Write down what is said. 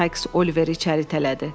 Sykes Oliveri içəri tələdi.